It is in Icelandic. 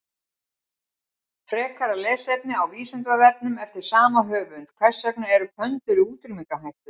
Frekara lesefni á Vísindavefnum eftir sama höfund: Hvers vegna eru pöndur í útrýmingarhættu?